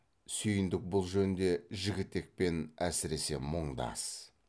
сүйіндік бұл жөнде жігітекпен әсіресе мұңдас